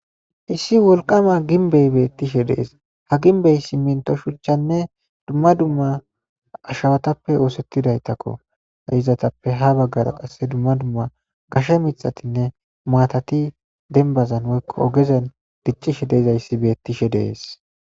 Issi wolqama ginbey beettishe dees ha ginbey simminto shuchchanne dumma dumma ashawatappe oosettidaytakko ha izatappe ha baggara qasse dumma dumma gashe mixatinne maatati denbazan hoykko ogezan diccishe deezayssi beettishe dees.